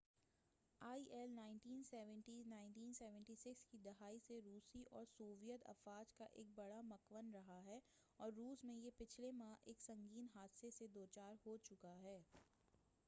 آئی L 1970 کی دہائی سے روسی اور سوویت افواج کا ایک بڑا مُکوِّن رہا ہے اور روس میں یہ پچھلے ماہ ایک سنگین حادثہ سے دوچار ہو چکا ہے